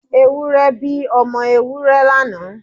Ewúrẹ́ bí ọmọ Ewúrẹ́ lánàá.